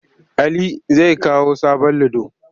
Ali zai kawo sabon ludo.